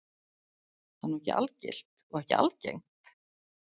Það er nú ekki algilt og ekki algengt?